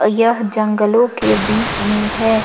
यह जंगलों के बीच में है।